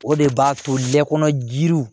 O de b'a to lɛ kɔnɔ jiri